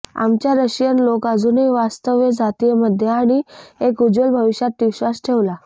आमच्या रशियन लोक अजूनही वास्तव्य जातीय मध्ये आणि एक उज्ज्वल भविष्यात विश्वास ठेवला